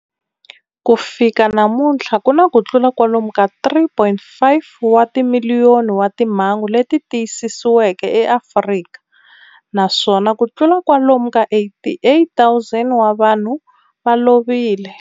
Ku fika namuntlha ku na kutlula kwalomu ka 3.5 wa timiliyoni wa timhangu leti tiyisisiweke eAfrika, naswona kutlula kwalomu ka 88,000 wa vanhu va lovile.